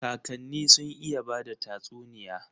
Kakani sun iya bada tatsuniya.